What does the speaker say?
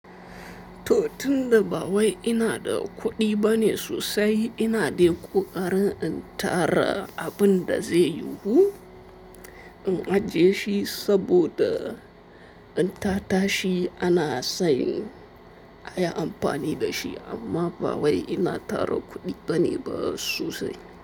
To tun da ba wai ina da kuɗi bane sosai, ina dai ƙoƙarin in tara abin da zai yiwu, in ajje shi saboda in tatashi ana sayin, a yi amfani da shi amma ba wai ina tara kuɗi bane ba sosai.